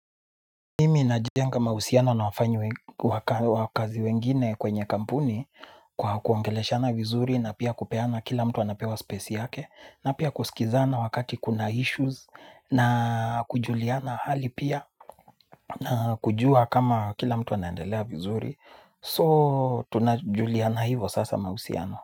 Mimi najenga mahusiano na wafanyi we wakazi wengine kwenye kampuni kwa kuongeleshana vizuri na pia kupeana kila mtu anapewa space yake na pia kusikizana wakati kuna issues na kujuliana hali pia. Na kujua kama kila mtu anaendelea vizuri so tunajuliana hivo sasa mahusiano.